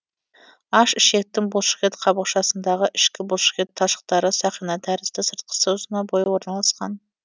аш ішектің бұлшықет қабықшасындағы ішкі бұлшықет талшықтары сақина тәрізді сыртқысы ұзына бойы орналасқан